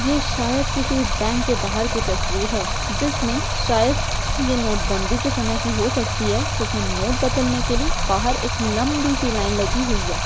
ये शायद किसी बैंक के बाहर का तस्वीर है जिसमें शायद ये नोटबंदी के समय की हो सकती है जिसमें नोट बदलने के लिए बाहर एक लम्बी सी लाइन लगी हुई है।